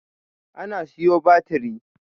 A'a na siyo batiri